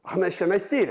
Axı mən işləmək istəyirəm?